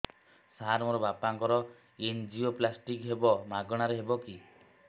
ସାର ମୋର ବାପାଙ୍କର ଏନଜିଓପ୍ଳାସଟି ହେବ ମାଗଣା ରେ ହେବ କି